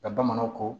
Ka bamananw ko